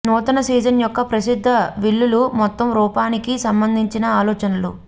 నూతన సీజన్ యొక్క ప్రసిద్ధ విల్లులు మొత్తం రూపానికి సంబంధించిన ఆలోచనలు